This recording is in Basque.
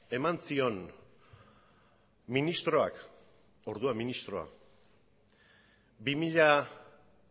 eman zion ministroak orduan ministroa bi mila